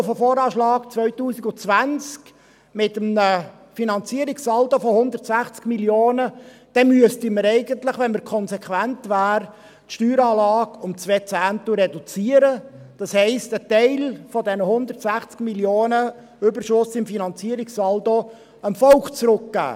Wenn ich auf den VA 2020 mit einem Finanzierungssaldo von 160 Mio. Franken zurückkomme, dann müssten wir eigentlich, wenn wir konsequent wären, die Steueranlage um zwei Zehntel reduzieren, das heisst, einen Teil dieser 160 Mio. Franken Überschuss im Finanzierungssaldo dem Volk zurückgeben.